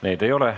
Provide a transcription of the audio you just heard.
Neid ei ole.